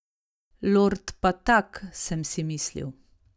Lord pa tak, sem si mislil.